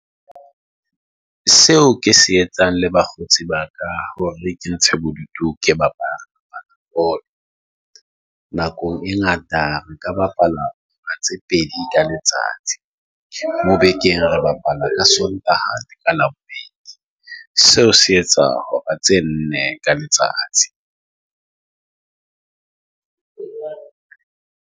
Seo ke se etsang le bakgotsi ba ka hore ke ntshe bodutu, ke bapala bolo. Nakong e ngata nka bapala tse pedi ka letsatsi. Mo bekeng re bapala ka Sontaha le ka Labobedi. Seo se etsa hora tse nne ka letsatsi.